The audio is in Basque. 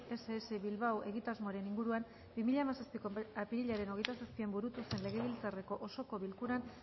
ess bilbao egitasmoaren inguruan bi mila hamazazpiko apirilaren hogeita zazpian burutu zen legebiltzarreko osoko bilkuran